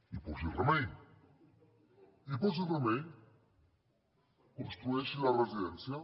i posi hi remei i posi hi remei construeixi la residència